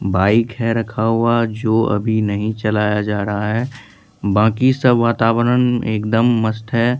Bike है रखा हुआ जो अभी नहीं चलाया जा रहा है बाकी सब वातावरण एकदम मस्त है।